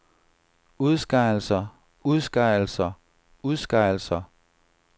udskejelser udskejelser udskejelser